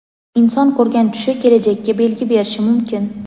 Inson ko‘rgan tushi kelajakka belgi berishi mumkin.